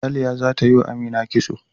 Ralia zata yi wa Amina kitso.